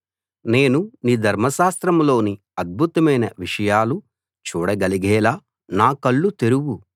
నేను నీ ధర్మశాస్త్రంలోని అద్భుతమైన విషయాలు చూడగలిగేలా నా కళ్ళు తెరువు